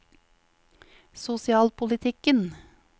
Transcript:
sosialpolitikken